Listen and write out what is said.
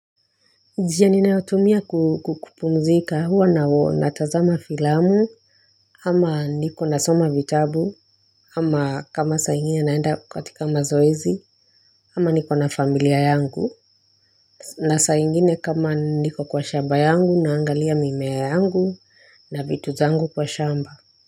Njia ninayotumia kukupumzika huwa na huwa na tazama filamu ama niko nasoma vitabu ama kama saingine naenda katika mazoezi ama niko na familia yangu na saingine kama niko kwa shamba yangu naangalia mimea yangu na vitu zangu kwa shamba.